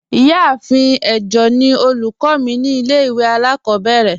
Ìyàáfín ẹ̀jọ̀ ni ọlúkọ̀ mi ni ilẹ̀-ìwé alákòbèrè.